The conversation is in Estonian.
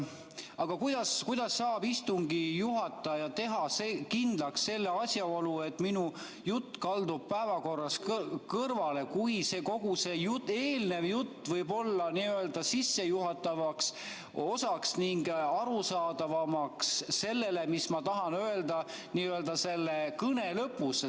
Aga kuidas saab istungi juhataja teha kindlaks selle asjaolu, et minu jutt kaldub päevakorrast kõrvale, kui kogu see eelnev jutt võib olla sissejuhatavaks osaks, et teha arusaadavamaks see, mis ma tahan öelda selle kõne lõpus?